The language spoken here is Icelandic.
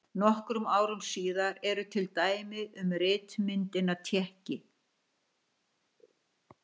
Nokkrum árum síðar eru til dæmi um ritmyndina tékki.